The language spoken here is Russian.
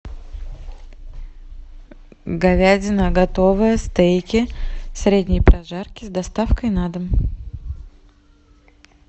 говядина готовая стейки средней прожарки с доставкой на дом